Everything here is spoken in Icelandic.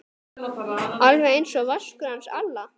Alveg einsog Vaskur hans Alla?